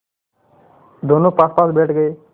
दोेनों पासपास बैठ गए